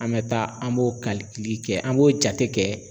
An be taa, an b'o kɛ, an b'o jate kɛ.